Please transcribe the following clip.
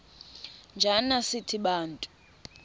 njana sithi bantu